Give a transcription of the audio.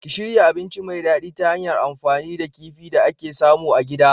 Ki shirya abinci mai dadi ta hanyar amfani da kifi da ake samu a gida.